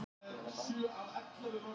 Veturinn á eftir var líka harður.